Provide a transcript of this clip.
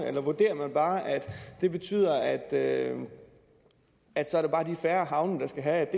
eller vurderer man bare at det betyder at er de færre havne der skal have